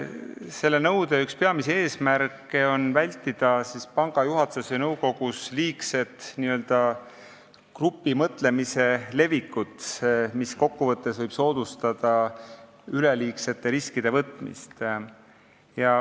Selle nõude üks peamisi eesmärke on vältida panga juhatuses ja nõukogus n-ö grupimõtlemise liigset levikut, mis võib kokku võttes soodustada üleliigsete riskide võtmist.